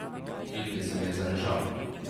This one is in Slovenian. Kilvin se mi je zarežal.